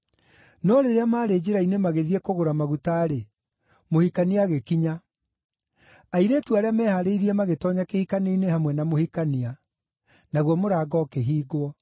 “No rĩrĩa maarĩ njĩra-inĩ magĩthiĩ kũgũra maguta-rĩ, mũhikania agĩkinya. Airĩtu arĩa mehaarĩirie magĩtoonya kĩhikanio-inĩ hamwe na mũhikania. Naguo mũrango ũkĩhingwo.